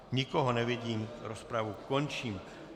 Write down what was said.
Nikoho nevidím, rozpravu končím.